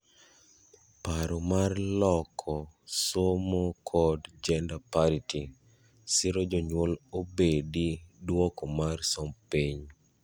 paro mar loko somo kod gender parity: siro jonyuol obedi duoko mar somb piny